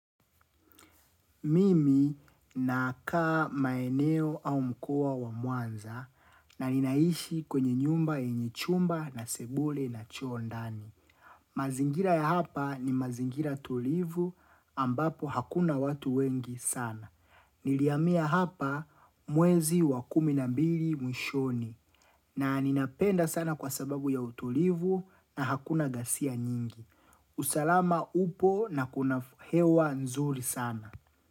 Mimi na kaa maeneo au mkua wa muanza na ninaishi kwenye nyumba yenye chumba na sebule na choo ndani. Mazingira ya hapa ni mazingira tulivu ambapo hakuna watu wengi sana. Nilihamia hapa mwezi wa kumi na mbili mwishoni na ninapenda sana kwa sababu ya utulivu na hakuna gasia nyingi. Usalama upo na kuna hewa nzuri sana.